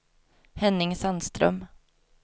Henning Sandström